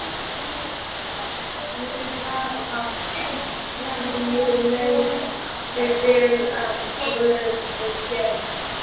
Því ég var að einhverju leyti vel af guði gerður.